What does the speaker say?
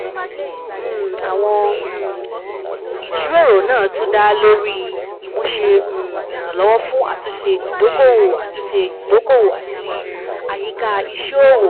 um Àwọn um ìjíròrò náà tún dá lórí ìmúṣẹ um Ìrànlọ́wọ́ fún Àtúnṣe Ìdókòwò Àtúnṣe Ìdókòwò àti Àyíká Iṣẹ́-òwò (SIBE)